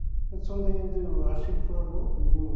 енді сондай енді ыыы ошибкалар болады